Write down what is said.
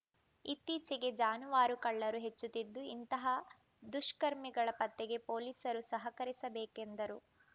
ಇತ್ತೀಚೆಗೆ ಜಾನುವಾರು ಕಳ್ಳರು ಹೆಚ್ಚುತ್ತಿದ್ದು ಇಂತಹ ದುಷ್ಕರ್ಮಿಗಳ ಪತ್ತೆಗೆ ಪೊಲೀಸರು ಸಹಕರಿಸಬೇಕೆಂದರು